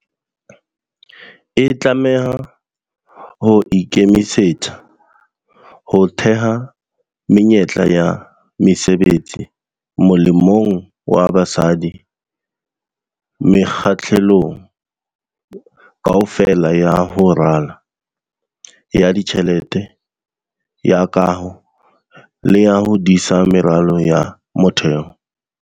E tlameha ho ikemisetsa ho theha menyetla ya mesebetsi molemong wa basadi mekga-hlelong kaofela ya ho rala, ya ditjhelete, ya kaho le ya ho disa meralo ya motheo.